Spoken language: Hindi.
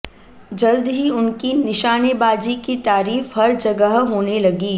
जल्द ही उनकी निशानेबाजी की तारीफ हर जगह होने लगी